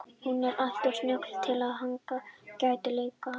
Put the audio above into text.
Hún er alltof snjöll til að hann geti leikið á hana.